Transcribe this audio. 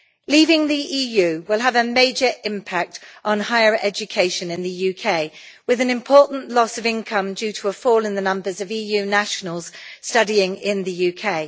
Leaving the EU will have a major impact on higher education in the UK, with an important loss of income due to a fall in the numbers of EU nationals studying in the UK.